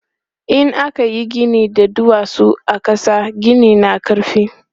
In aka yi gini da duwatsu a ƙasa, ginin na ƙarfi.